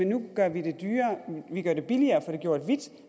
nu gør vi det billigere at få arbejdet gjort hvidt